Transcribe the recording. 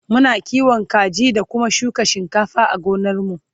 Muna kiwon kaji da Kuma shuka shinkafa a gonar mu